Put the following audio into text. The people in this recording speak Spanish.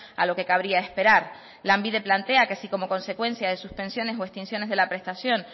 a lo que cabría esperar lanbide plantea que si como consecuencia de suspensiones o extinciones de la prestación